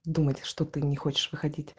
думать что ты не хочешь выходить